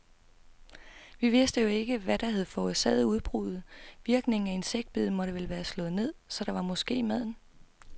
Vi vidste jo ikke, hvad der havde forårsaget udbruddet, virkningen af insektbiddet måtte vel være slået ned, så var det måske maden?